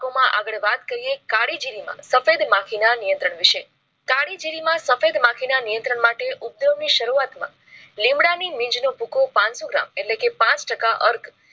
આગળ વાત કરીયે કાળી જીરીમાં માં સફેદ માખી ના નિયંત્રણ વિષય કાળી જીરીમાં માં સફેદ માખી ના નિયંત્રણ માટે ઉપયોગ ની શરૂઆત માં લીંબડા ની બીજ નો ભૂખો પાનસો gram એટલે કે પાંચ ટકા અર્ગ